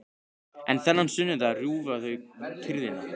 En þennan sunnudag rjúfa þau kyrrðina.